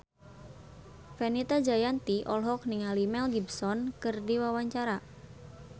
Fenita Jayanti olohok ningali Mel Gibson keur diwawancara